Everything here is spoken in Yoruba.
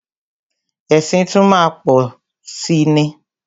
Ẹ̀sìn tún má a má pọ̀si ni.